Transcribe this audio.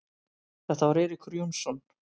Þetta var Eiríkur Jónsson.